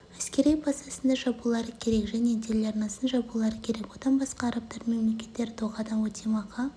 әскери базасын да жабулары керек және телеарнасын жабулары керек одан басқа арабтардың мемлекеттері дохадан өтемақы